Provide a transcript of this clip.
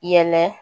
Yɛlɛ